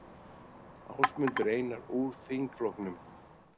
Ásmundur Einar úr þingflokknum